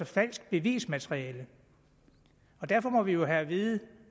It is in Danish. falsk bevismateriale derfor må vi jo have at vide